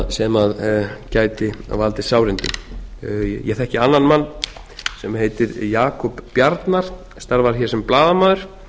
sem gæti valdið sárindum ég þekki annan mann sem heitir jakob bjarnar starfar hér sem blaðamaður